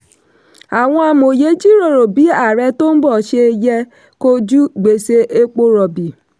àwọn amòye jíròrò bí ààrẹ tó ń bọ̀ ṣe yẹ kojú gbèsè epo rọ̀bì.